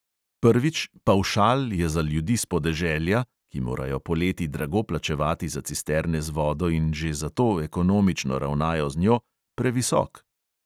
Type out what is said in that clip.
Prvič, pavšal je za ljudi s podeželja, ki morajo poleti drago plačevati za cisterne z vodo in že zato ekonomično ravnajo z njo, previsok.